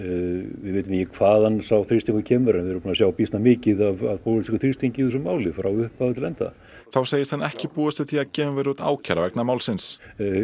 við vitum ekki hvaðan sá þrýstingur kemur en við erum búin að sjá mikið af pólitískum þrýstingi í þessu máli frá upphafi til enda þá segist hann ekki búast við því að gefin verði út ákæra vegna málsins